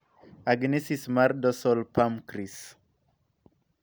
Agenesis mar dorsaol pamcrease.